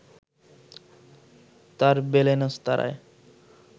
তার বেলেনস্তারায়